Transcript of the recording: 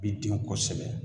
Bi den kosɛbɛ